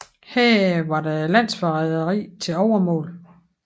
Her var der landsforræderi til overmål